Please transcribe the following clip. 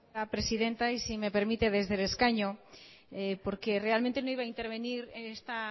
gracias presidenta y si me permite desde el escaño realmente no iba a intervenir esta